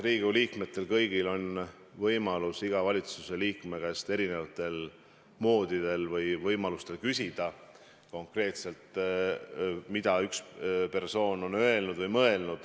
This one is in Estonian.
Riigikogu liikmetel on võimalus valitsuse iga liikme käest erineval moel küsida konkreetselt, mida üks või teine persoon on öelnud või mõelnud.